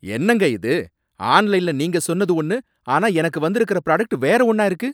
என்னங்க இது! ஆன்லைன்ல நீங்க சொன்னது ஒன்னு ஆனா எனக்கு வந்திருக்குற ப்ராடக்ட் வேற ஒன்னா இருக்கு?